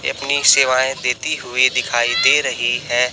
ये अपनी सेवाएं देती हुई दिखाई दे रही है।